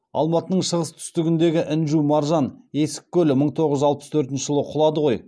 алматының шығыс түстігіндегі інжу маржан есік көлі мың тоғыз жүз алпыс төртінші жылы құлады ғой